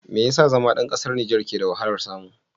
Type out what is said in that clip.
Me yasa zama ɗan ƙasar Nijer ke da wahalar samu?